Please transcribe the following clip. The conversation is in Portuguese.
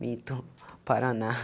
Minto, Paraná.